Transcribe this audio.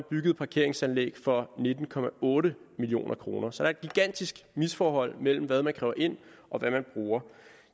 byggede parkeringsanlæg for nitten million kroner så der er et gigantisk misforhold mellem hvad man kræver ind og hvad man bruger